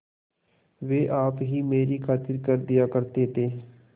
वे आप ही मेरी खातिर कर दिया करते थे